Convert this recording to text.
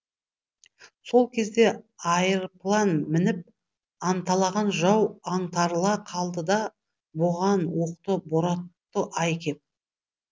сол кезде айырплан мініп анталаған жау аңтарыла қалды да бұған оқты боратты ай келіп